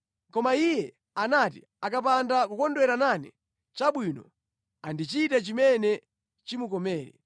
Koma iye anati, ‘Akapanda kukondwera nane,’ chabwino, andichite chimene chimukomere.”